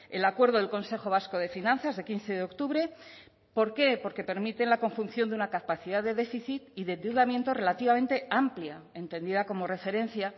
el acuerdo del consejo vasco de finanzas de quince de octubre por qué porque permiten la conjunción de una capacidad de déficit y de endeudamiento relativamente amplia entendida como referencia